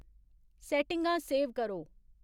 सैट्टिङां save करो